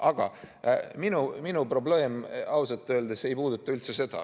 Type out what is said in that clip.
Aga minu probleem ausalt öeldes ei puuduta üldse seda.